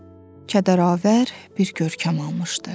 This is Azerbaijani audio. Kədəravar bir görkəm almışdı.